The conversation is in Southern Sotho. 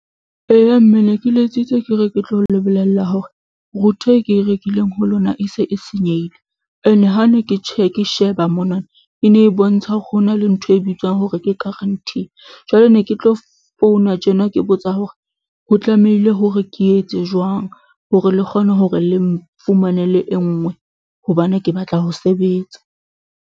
Eya mme ne ke letsitse ke re ke tlo le bolella hore router e ke e rekileng ho lona e se e senyehile ene ha ne ke sheba monana e ne e bontsha ho na le ntho e bitswang hore ke guarantee jwale ne ke tlo founa tjena ke botsa hore ho tlamehile hore ke etse jwang hore le kgone hore le mfumanele e nngwe hobane ke batla ho sebetsa.